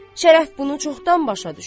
Şərəf bunu çoxdan başa düşüb.